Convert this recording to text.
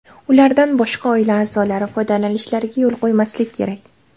Ulardan boshqa oila a’zolari foydalanishlariga yo‘l qo‘ymaslik kerak.